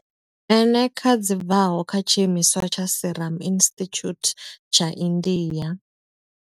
Eneca dzi bvaho kha tshiimiswa tsha Serum Institute tsha India.